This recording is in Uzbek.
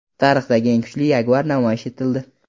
Tarixdagi eng kuchli Jaguar namoyish etildi .